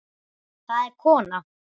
Það er kona.